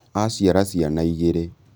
Aciara ciana igĩrĩ